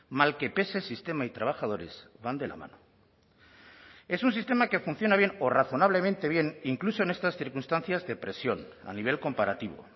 mal que pese sistema y trabajadores van de la mano es un sistema que funciona bien o razonablemente bien incluso en estas circunstancias de presión a nivel comparativo